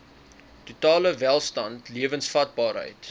totale welstand lewensvatbaarheid